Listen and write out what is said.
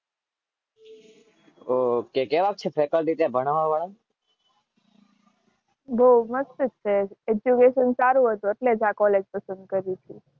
ઓ કેવાંક છે ફેકલટીઝ ભણાવવા વાળા?